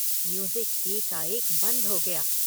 Music एकाएक बंद हो गया।